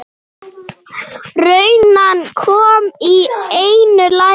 Runan kom í einu lagi.